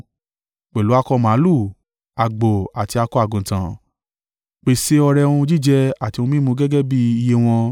Pẹ̀lú akọ màlúù, àgbò, àti akọ àgùntàn, pèsè ọrẹ ohun jíjẹ àti ohun mímu gẹ́gẹ́ bí iye wọn.